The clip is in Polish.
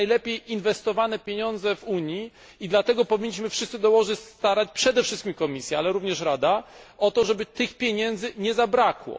To są najlepiej inwestowane pieniądze w Unii i dlatego powinniśmy wszyscy dołożyć starań, przede wszystkim Komisja, ale również Rada, o to, żeby tych pieniędzy nie zabrakło.